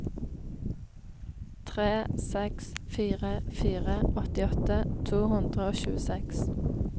tre seks fire fire åttiåtte to hundre og tjueseks